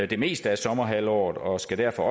det meste af sommerhalvåret og skal derfor